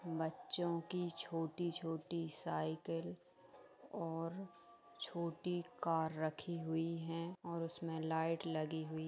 बच्चों की छोटी-छोटी साइकिल और छोटी कार रखी हुई है और उसमें लाइट लगी हुई--